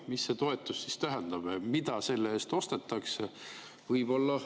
Mis see toetus siis tähendab, mida selle eest ostetakse?